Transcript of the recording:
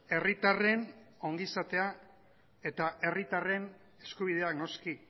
herritarren ongizatea eta herritarren eskubidea noski